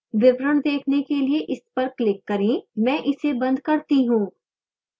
विवरण देखने के लिए इस पर click करें मैं इसे बंद करती हूँ